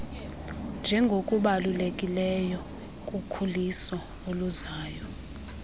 njengokubalulekileyo kukhuliso oluzayo